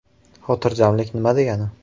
Xotirjamlik nima degani?